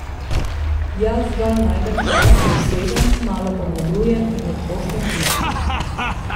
Jaz zgolj najdem čas, se usedem, malo pomodrujem in odpošljem pismo.